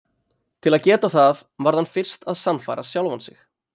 Til að geta það varð hann fyrst að sannfæra sjálfan sig.